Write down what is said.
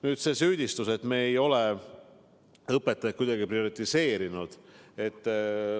Nüüd, see süüdistus, et me ei ole õpetajaid kuidagi prioriseerinud.